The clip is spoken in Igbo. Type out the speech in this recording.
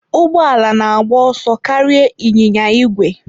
Ụgbọ ala na-agba ọsọ karịa ịnyịnya ígwè.